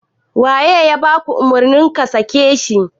Waye ya baka umurni ka sake shi?